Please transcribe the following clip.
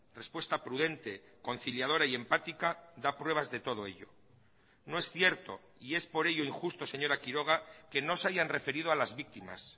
respuesta prudente conciliadora y empática da pruebas de todo ello no es cierto y es por ello injusto señora quiroga que no se hayan referido a las víctimas